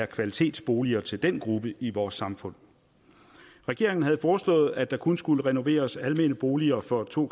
kvalitetsboliger til den gruppe i vores samfund regeringen havde foreslået at der kun skulle renoveres almene boliger for to